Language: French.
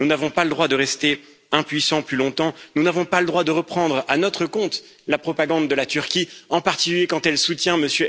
Nous n'avons pas le droit de rester impuissants plus longtemps, nous n'avons pas le droit de reprendre à notre compte la propagande de la Turquie, en particulier quand elle soutient M.